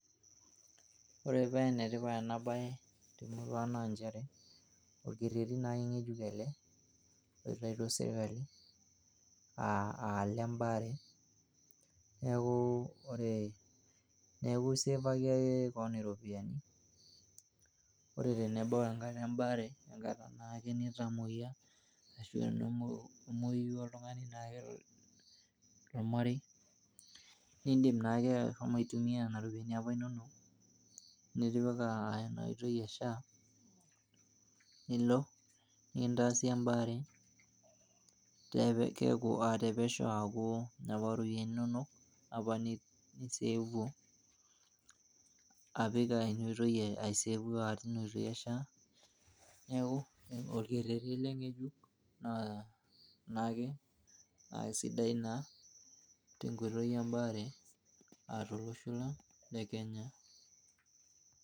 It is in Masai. Ore pee enetipat ena bae temurua naa nchere orkereti naa ngejuk ele oitaituo sirkali aa lembaare . Niaku ore ,niaku isevaki ake kewon iropiyian ore tenebau enkata lembaare enkata nitamoyia ,tenemwoyu oltungani nindim naake ashomo aitumia.